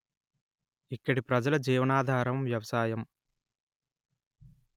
ఇక్కడి ప్రజల జీవనాధారం వ్యవసాయం